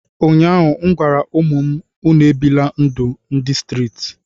ụnyahụ m gwara ụmụ m, unu ebila ndụ ndị streeti